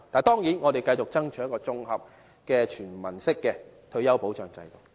當然，我們會繼續爭取一套綜合和全民的退休保障制度。